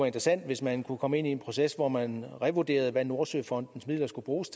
interessant hvis man kunne komme ind i en proces hvor man revurderede hvad nordsøfondens midler skal bruges